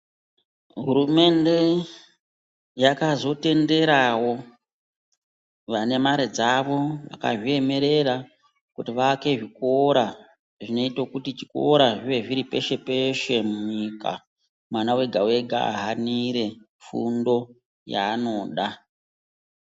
Hurumende yakazotenderawo vane mari dzavo vanezviremerera kuti vavake zvikora zvinoita kuti zvikora zvive zviri peshe peshe munyika, mwana wega wega anire fundo yaanoda.